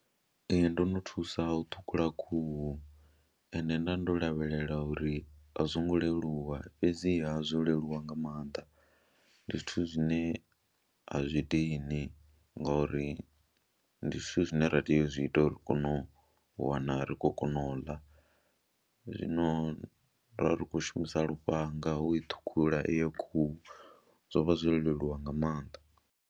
Ee, ndo no thusa u ṱhukhula khuhu ende nda ndo lavhelela uri a zwo ngo leluwa fhedziha zwo leluwa nga maanḓa, ndi zwithu zwine a zwi dini ngori ndi zwithu zwine ra tea u zwi ita uri ri kone u wana ri khou kona u ḽa, zwino ro vha ri khou shumisa lufhanga u i ṱhukhula iyo khuhu, zwo vha zwo leluwa nga maanḓa.